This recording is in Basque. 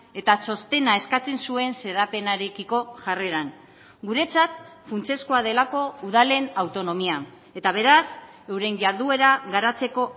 eta txostena eskatzen zuen xedapenarekiko jarreran guretzat funtsezkoa delako udalen autonomia eta beraz euren jarduera garatzeko